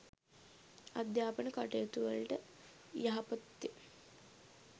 අධ්‍යාපන කටයුතුවලට යහපත්ය